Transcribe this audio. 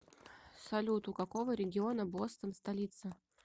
салют у какого региона бостон столица